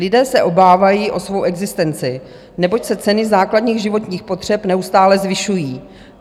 Lidé se obávají o svou existenci, neboť se ceny základních životních potřeb neustále zvyšují.